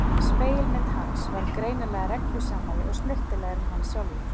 Spegilmyndin hans var greinilega reglusamari og snyrtilegri en hann sjálfur.